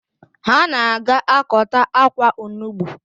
Ha na-aga akọta akwa onugbu